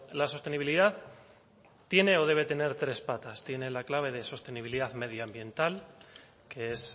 la sostenibilidad tiene o debe tener tres patas tiene la clave de sostenibilidad medioambiental que es